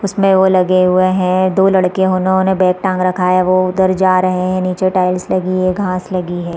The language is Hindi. इसमें वो लगे हुए है दो लड़के उन्होंने बैग टांग रखा है वो उधर जा रहे है नीचे टाइल्स लगी है घास लगी है।